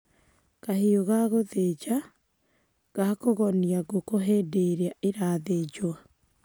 Kahiu ga gũthĩnja: Gakũgonia ngũkũ hĩndĩ ĩrĩa irathĩnjwo.